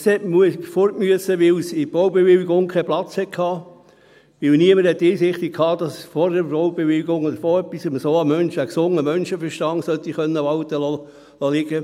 Es musste weg, weil es in der Baubewilligung keinen Platz hatte, weil niemand die Einsicht hatte, dass ein Mensch vor der Baubewilligung den gesunden Menschenverstand sollte walten lassen können.